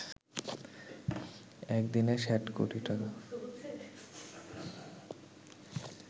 এক দিনে ৬০ কোটি টাকা